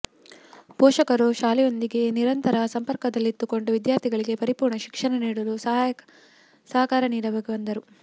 ಪೋಷಕರು ಶಾಲೆಯೊಂದಿಗೆ ನಿರಂತರ ಸಂಪರ್ಕದಲ್ಲಿದ್ದುಕೊಂಡು ವಿದ್ಯಾರ್ಥಿಗಳಿಗೆ ಪರಿಪೂರ್ಣ ಶಿಕ್ಷಣ ನೀಡಲು ಸಹಕಾರ ನೀಡಬೇಕು ಎಂದರು